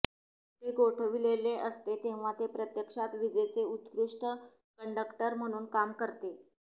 ते गोठविलेले असते तेव्हा ते प्रत्यक्षात विजेचे उत्कृष्ट कंडक्टर म्हणून काम करते